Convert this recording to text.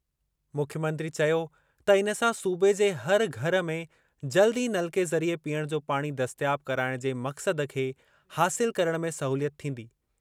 मुख्यमंत्री चयो त इन सां सूबे जे हर घर में जल्द ई नलके ज़रिए पीअण जो पाणी दस्तियाब कराइणु जे मक़्सद खे हासिल करणु में सहूलियत थींदी।